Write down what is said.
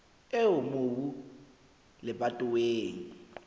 eo mobu o leng lebatoweng